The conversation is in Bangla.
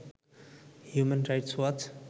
human Rights watch